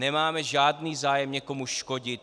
Nemáme žádný zájem někomu škodit.